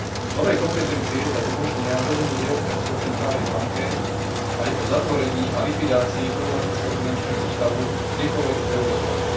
Nové kompetencie tak umožnia rozhodnúť Európskej centrálnej banke aj o zatvorení a likvidácii problematického finančného ústavu kdekoľvek v eurozóne.